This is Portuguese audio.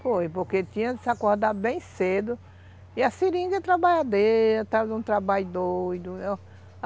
Foi, porque tinha que acordar bem cedo e a seringa trabalhava dentro, era um trabalho doido.